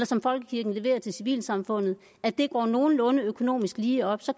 som folkekirken leverer til civilsamfundet går det nogenlunde økonomisk lige op så